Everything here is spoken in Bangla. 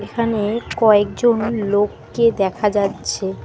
এখানে কয়েকজন লোককে দেখা যাচ্ছে।